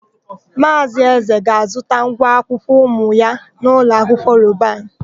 Maazị Eze ga-azụta ngwa akwụkwọ ụmụ ya n'ụlọahịa Robanu.